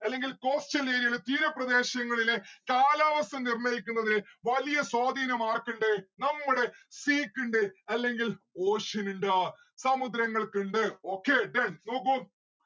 അല്ലെങ്കിൽ coastal area ലെ തീരപ്രദേശങ്ങളിലെ കാലാവസ്ഥ നിർണയിക്കുന്നത് വലിയ സ്വാധീനം ആർക്കിണ്ട്‌ നമ്മുടെ sea ക്കിണ്ട് അല്ലെങ്കിൽ ocean ഇണ്ട് സമുദ്രങ്ങൽക്കിണ്ട്‌ okay then നോക്കൂ